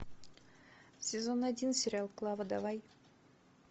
сезон один сериал клава давай